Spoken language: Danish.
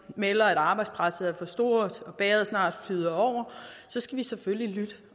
melder at arbejdspresset er for stort og bægeret snart flyder over så skal vi selvfølgelig lytte